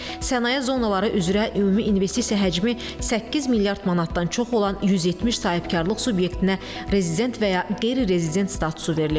Sənaye zonaları üzrə ümumi investisiya həcmi 8 milyard manatdan çox olan 170 sahibkarlıq subyektinə rezident və ya qeyri-rezident statusu verilib.